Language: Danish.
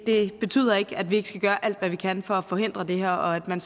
det betyder ikke at vi ikke skal gøre alt hvad vi kan for at forhindre det her og man